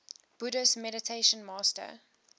buddhist meditation master